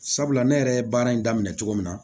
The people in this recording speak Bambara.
Sabula ne yɛrɛ ye baara in daminɛ cogo min na